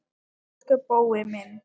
Elsku Bói minn.